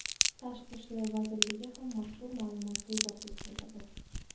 Tashqi ishlar vazirligi ham mazkur ma’lumotni izohsiz qoldirdi.